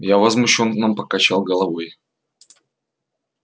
я возмущённо покачал головой